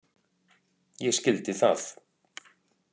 Ég skildi það.